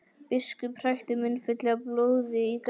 Biskup hrækti munnfylli af blóði í grasið.